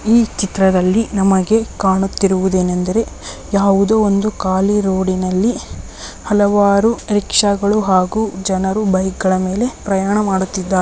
ಈ ಚಿತ್ರದಲ್ಲಿ ನಮಗೆ ಕಾಣುತ್ತಿರುವುದೇನೆಂದರೆ ಯಾವುದೋ ಒಂದು ಖಾಲಿ ರೋಡಿನಲ್ಲಿ ಹಲವಾರು ಅಹ್ ರಿಕ್ಷಾ ಗಳು ಹಾಗೂ ಜನರು ಬೈಕ್ ಗಳ ಮೇಲೆ ಪ್ರಯಾಣ ಮಾಡುತ್ತಿದ್ದಾರೆ.